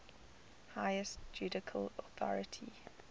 highest judicial authority